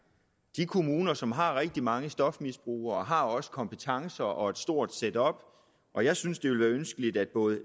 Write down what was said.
de kommuner som har rigtig mange stofmisbrugere har også kompetencerne og et stort setup og jeg synes det ønskeligt at både